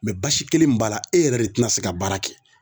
Mɛ basi kelen min b'a la e yɛrɛ de tena se ka baara kɛ